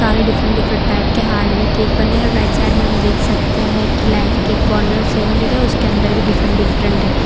सारे different different type के heart में केक बने और राइट साइड में हम देख सकते हैं की लाइफ के कॉर्नर सेम लिखे उसके अंदर भी डिफरेंट डिफरेंट है।